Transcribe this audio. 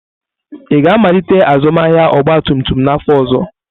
Ị ga-amalite azụmahịa ọgba tum tum n'afọ ọzọ?